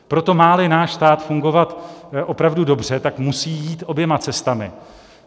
Proto má-li náš stát fungovat opravdu dobře, musí jít oběma cestami.